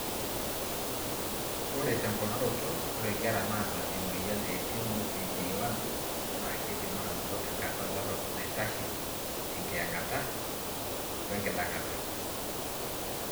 Ore temponaroto, ore inkera naata emoyian e MOPD1 na kindim anoto enkata dorop naitashe enkiyangata (apnea) wenkidangata.